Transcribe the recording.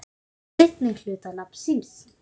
seinni hluta nafns síns.